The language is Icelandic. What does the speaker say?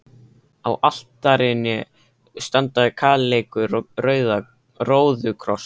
Á altarinu standa kaleikur og róðukross.